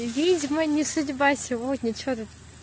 и видимо не судьба сегодня что-тут